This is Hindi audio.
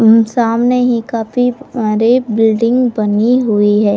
उम सामने ही काफी प्यारे बिल्डिंग बने हुए है।